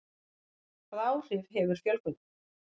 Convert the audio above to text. Hvaða áhrif hefur fjölgunin?